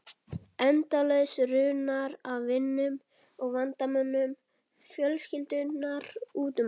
Endalaus runa af vinum og vandamönnum fjölskyldunnar út um allt.